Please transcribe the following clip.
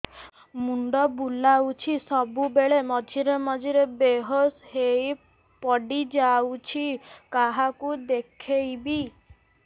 ମୁଣ୍ଡ ବୁଲାଉଛି ସବୁବେଳେ ମଝିରେ ମଝିରେ ବେହୋସ ହେଇ ପଡିଯାଉଛି କାହାକୁ ଦେଖେଇବି